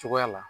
Cogoya la